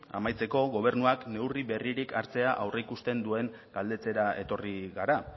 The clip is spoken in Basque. amaitzeko gobernuak neurri berririk hartzea aurreikusten duen galdetzera etorri gara